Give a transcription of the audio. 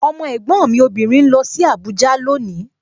Ọmọ ẹ̀gbọ́n mi obìnrin ń lọ sí Abuja loni